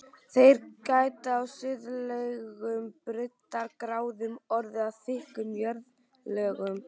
Þær geta á suðlægum breiddargráðum orðið að þykkum jarðlögum.